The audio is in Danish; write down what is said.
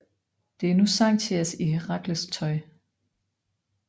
Det er nu Xanthias i Herakles tøj